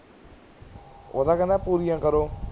ਉਹ ਤਾਂ ਕਹਿੰਦਾ ਪੂਰੀਆਂ ਕਰੋ